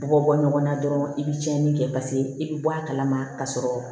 Bɔ bɔ ɲɔgɔn na dɔrɔn i be cɛnin kɛ paseke i bi bɔ a kalama ka sɔrɔ